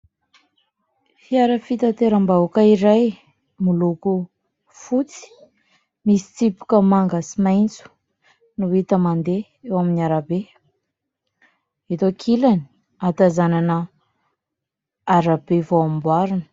Fiara fitateram-bahoaka iray, miloko fotsy misy tsipika manga sy maitso no hita mandeha eo amin'ny arabe, eto ankilany ahatazanana arabe vao amboarina.